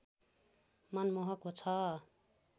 मनमोहक छ